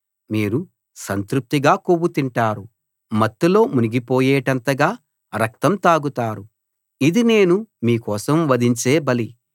మీరు సంతృప్తిగా కొవ్వు తింటారు మత్తులో మునిగిపోయేటంతగా రక్తం తాగుతారు ఇది నేను మీ కోసం వధించే బలి